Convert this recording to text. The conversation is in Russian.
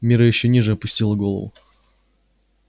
мирра ещё ниже опустила голову